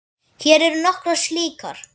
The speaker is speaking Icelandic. Hér eru nokkrar slíkar